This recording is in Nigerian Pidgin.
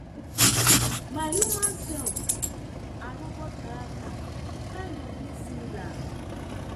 my human sef and robot character kind of dey similar